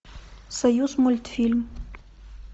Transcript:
союзмультфильм